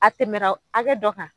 A tɛmɛ na hakɛ dɔ kan